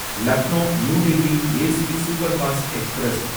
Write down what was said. Lucknow New Delhi AC superfast express